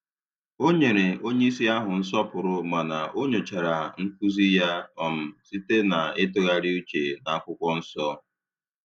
Ọ nyere onyeisi ahụ nsọpụrụ mana o nyochara nkuzi ya um site na itughari uche na n'akwụkwọ nsọ